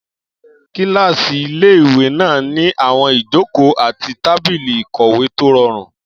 Kílásì ilé-ìwé náà ní àwọn ìjòkó àti tábìlì ìkọ̀wé tó rọrùn